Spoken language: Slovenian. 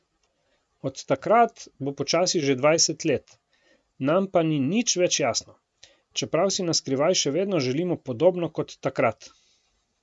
Od takrat bo počasi že dvajset let, nam pa ni nič več jasno, čeprav si naskrivaj še vedno želimo podobno kot takrat.